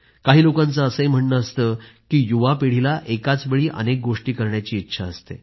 काही लोकांचं म्हणणं आहे की युवा पिढीला एकाच वेळी अनेक गोष्टी करण्याची इच्छा असते